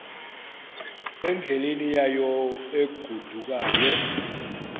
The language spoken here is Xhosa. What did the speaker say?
endleleni yayo egodukayo